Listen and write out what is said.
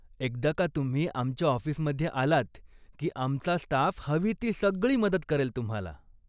एकदा का तुम्ही आमच्या ऑफिसमध्ये आलात की आमचा स्टाफ हवी ती सगळी मदत करेल तुम्हाला.